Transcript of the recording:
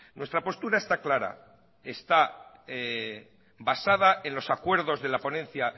nuestra postura está clara está basada en los acuerdos de la ponencia